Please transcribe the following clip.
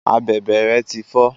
Abèbè rẹ ti fọ.